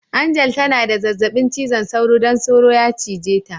Angel ta na da zazzabi cizon soro don soro ya cije ta.